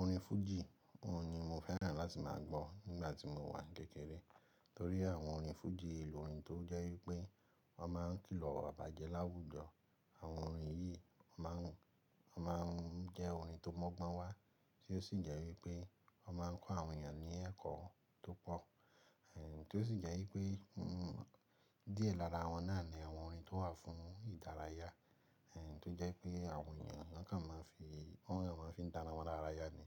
Orin fújì, òun ni mo fẹ́ràn láti máa gbọ́ nígbà tí mo wà kékeré. Torí àwọn orin fújì, lò orin tó jẹ́ wípé wọ́n máa ń kìlọ̀ iwabá jẹ láwùjọ. Àwọn orin yìí má ń jẹ́ orin tó mọ́gbọ́n wá tí ó sì jẹ́ wípé wọ́n máa ń kó àwọn ènìyàn ní ẹ̀kọ́ tó pọ̀. Èh, tí ó sì jẹ́ wípé, díẹ̀ lára wọn náà ni àwọn orin tó wà fún ìdárayá, èh, tó jẹ́ pé àwọn ènìyàn níkan máa ń fi, àwọn ènìyàn máa ń fi dá ara wọn lárayá ni.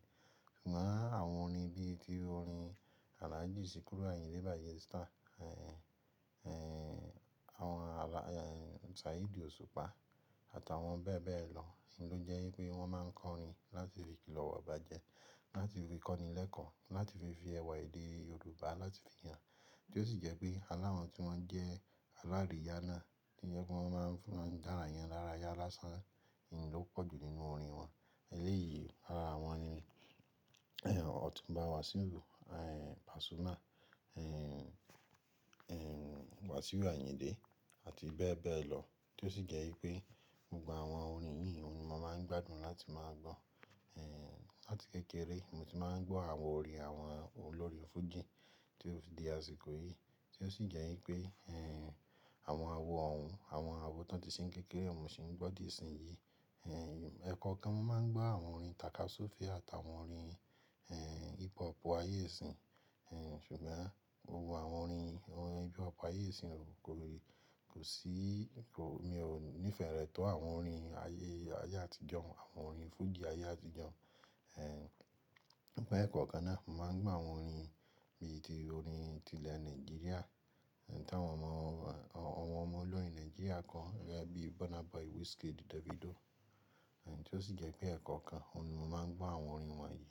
Ṣùgbọ́n àwọn orin bí i ti orin Alhaji Sikiru Ayinde Barrister, èh, èh, àwọn àlà, èh, Saheed Osupa àtàwọn bẹ́ẹ̀ bẹ́ẹ̀ lọ n ló jẹ́ wípé wọ́n máa ń kọrin láti fi kìlọ̀ ìwà ìbàjẹ́, láti fi kọ́ni lẹ́ẹ́kọ̀ọ́, láti fi fi ẹwà èdè Yorùbá láti fi hàn. Tí ó sì jẹ́ pé aláwọ̀n tí wọ́n jẹ́ alárìíyá náà, tí jẹ́ pé wọ́n máa ń fi orin dára yín lára yá lásán n ló pọ̀jù nínú orin wọn. Eléyìí ara wọn ni, èh, Ọ̀túnba Wasiu, èh, Pasuma, èh, èh, Wasiu Ayinde àti bẹ́ẹ̀ bẹ́ẹ̀ lọ. Tí ó sì jẹ́ wípé gbogbo àwọn orin yìí ni mo máa ń gbádùn láti máa gbọ́. Èh, láti kékeré ni mo ti máa ń gbọ́ àwọn orin àwọn olórin fújì tí ó fi di àsìkò yìí. Tí ó sì jẹ́ wípé, èh, àwọn àwo òún, àwọn àwo tón ti ṣe ń kékeré n mo sì ń gbọ́ di ìsinyìí. Èh, ẹ̀kọ́ kan mo máa ń gbọ́ àwọn orin takasufe àtàwọn orin, èh, hip hop ayé ìsín. Èh, ṣùgbọ́n gbogbo àwọn orin, àwọn orin hip hop ayé ìsín kò lè, kò sí, kò, mi ò nífẹ̀ẹ́ rẹ̀ tó àwọn orin ayé, ayé àtijọ́, àwọn orin fújì ayé àtijọ́. Èh, mean pé ẹ̀kọ̀kan náà, mo máa ń gbọ́ àwọn orin bí i ti orin ti ilẹ̀ Nàìjíríà tí àwọn ọmọ, àwọn ọmọ olórin Nàìjíríà kọ gẹ́gẹ́ bí Burna Boy, Wizkid, Davido. Èh, tí ó sì jẹ́ pé ẹ̀kọ́ kan, òun ni mo máa ń gbọ́ àwọn orin wọ̀nyí.